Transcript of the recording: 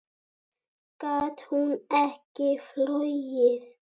Gat hún ekki flogið?